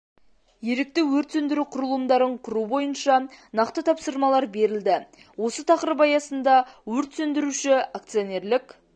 ерікті өрт сөндіру құрылымдарын құру бойынша нақты тапсырмалар берілді осы тақырып аясында өрт сөндіруші акционерлік